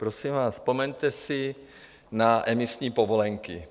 Prosím vás, vzpomeňte si na emisní povolenky.